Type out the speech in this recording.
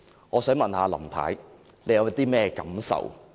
我想問林太，你對此有何感受？